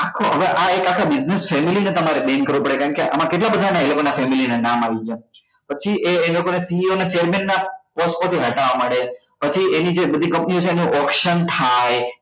આખો હવે એક આખો business family છે તમારે bank રોકડે કારણ કે આમાં કેટલા બધા ને એ લોકો ની family નાં નામ આવી ગયા પછી એ એ લોકો ને CA ની chairman ની post માંથી હટાવવા માંડે પછી એની જે બધી company છે એનો action થાય